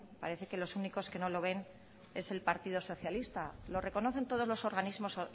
parece que los únicos que no lo ven es el partido socialista lo reconocen todos los organismos